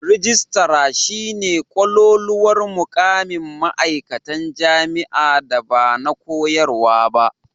Rijistara shi ne kololuwar mukamin ma"aikatan jami'a da ba na koyarwa ba.